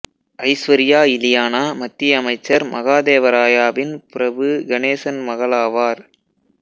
ஐஸ்வர்யா இலியானா மத்திய அமைச்சர் மகாதேவராயாவின் பிரபு கணேசன் மகளாவார்